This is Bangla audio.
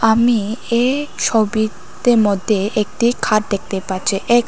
আমি এ ছবিতে মধ্যে একটি খাট দেখতে পাচ্ছি এ--